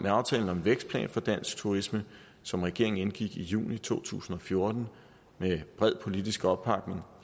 aftalen om vækstplan for dansk turisme som regeringen indgik i juni to tusind og fjorten med bred politisk opbakning